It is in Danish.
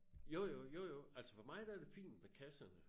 Jo jo jo jo altså for mig der er det fint med kasserne